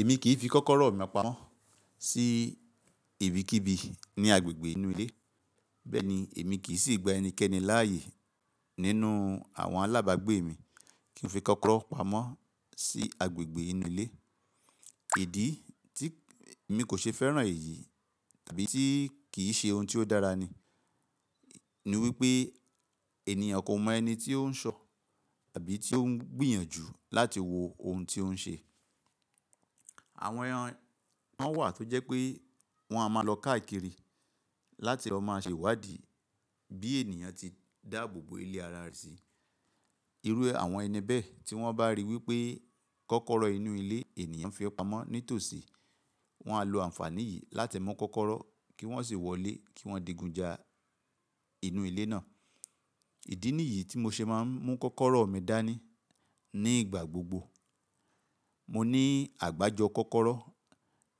Èmi kì í fi kọ́kọ́rọ́ mi pamọ́ sí ibikíbi ní agbègbè inú ilé. Bẹ́ẹ̀ni èmi kì í sì gba ẹnikẹ́ni láàyè nínú àwọn alábàágbé mi kí n fi kọ́kọ́rọ́ pamọ́ sí agbègbè inú ilé. Ìdí tí mi kò ṣe fẹ́ràn èyí tàbí tí kì í ṣe ohun tí ó dára ni, ní wípé ènìyàn kò mọ ẹni tí ó ń ṣọ̀ tàbí tí ó ń gbìyànjú láti wo ohun tí ó ń ṣe. Àwọn ẹran won wà tó jẹ́ pé wọ́n a máa lọ káàkiri láti lọ máa ṣe ìwádìí bí ènìyàn ti dáàbò bo ilé ara rẹ̀ sí. Irú àwọn ẹni bẹ́ẹ̀ tí wọ́n bá ríi wípé kọ́kọ́rọ́ inú ilé ènìyàn fi pamọ́ ní tòsí, wọ́n á lo àǹfààní yìí láti mú kọ́kọ́rọ́ kí wọ́n sì wọlé kí wọ́n digunja inú ilé náà. Ìdí nìyí tí mo ṣe máa ń mú kọ́kọ́rọ́ mi dání ní ìgbà gbogbo. Mo ní àgbájọ kọ́kọ́rọ́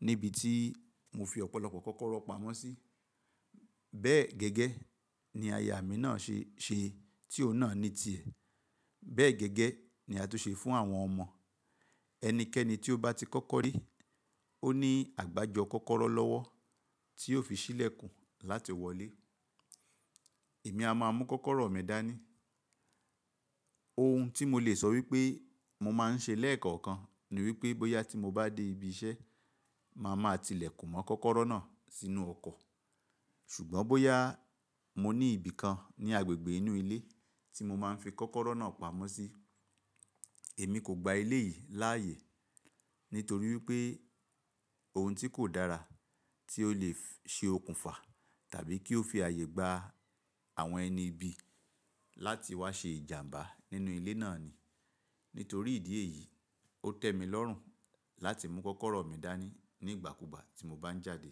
níbi tí mo fi ọ̀pọ̀lọpọ̀ kọ́kọ́rọ́ pamọ́ sí. Bẹ́ẹ̀ gẹ́gẹ́ ni aya mi náà ṣe é ṣe tí òun náà ní ti è. Bẹ́ẹ̀ gẹ́gẹ́ ni a tún ṣe fún àwọn ọmọ. Ẹnikẹ́ni tí ó bá ti kọ́kọ́ rí, ó ní àgbájọ kọ́kọ́rọ́ lọ́wọ́ tí ó fi sílẹ̀ kùn láti wọlé. Èmi a máa mú kọ́kọ́rọ́ mi dání. Ohun tí mo lè sọ wípé mo máa ń ṣe lẹ́ẹ̀kọ̀kan ni wípé bóyá tí mo bá dé ibi iṣẹ́, màá máa tilẹ̀ kùn mọ́ kọ́kọ́rọ́ náà sínú ọkọ̀. Ṣùgbọ́n bóyá mo ní ibìkan ní agbègbè inú ilé tí mo máa ń fi kọ́kọ́rọ́ náà pamọ́ sí, èmi kò gba ilé yìí láàyè nítorí wípé ohun tí kò dára tí ó lè ṣe okùnfà tàbí kí ó fi ààyè gba àwọn ẹni ibi láti wá ṣe ìjàmbá nínú ilé náà ni. Nítorí ìdí èyí, ó tẹ́ mi lọ́rùn láti mú kọ́kọ́rọ́ mi dání ní ìgbàkúùgbà tí mo bá ń jáde.